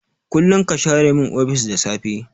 Kullun ka share min ofis da safe.